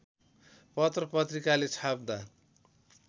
पत्र पत्रिकाले छाप्दा